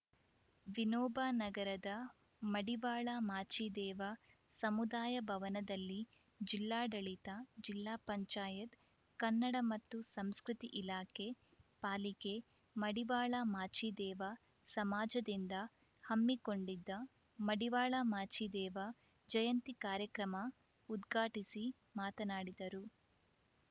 ವಿನೋಬ ನಗರದ ಮಡಿವಾಳ ಮಾಚಿದೇವ ಸಮುದಾಯ ಭವನದಲ್ಲಿ ಜಿಲ್ಲಾಡಳಿತಜಿಲ್ಲಾ ಪಂಚಾಯತ್ ಕನ್ನಡ ಮತ್ತು ಸಂಸ್ಕೃತಿ ಇಲಾಖೆ ಪಾಲಿಕೆ ಮಡಿವಾಳ ಮಾಚಿದೇವ ಸಮಾಜದಿಂದ ಹಮ್ಮಿಕೊಂಡಿದ್ದ ಮಡಿವಾಳ ಮಾಚಿದೇವ ಜಯಂತಿ ಕಾರ್ಯಕ್ರಮ ಉದ್ಘಾಟಿಸಿ ಮಾತನಾಡಿದರು